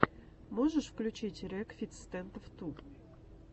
можешь включить рекфиц стэндофф ту